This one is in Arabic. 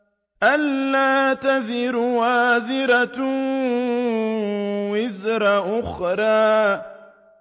أَلَّا تَزِرُ وَازِرَةٌ وِزْرَ أُخْرَىٰ